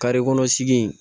kɔnɔ sigi